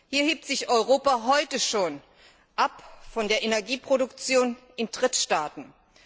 Hier hebt sich Europa heute schon von der Energieproduktion in Drittstaaten ab.